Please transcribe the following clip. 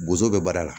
Bozo bɛ baara la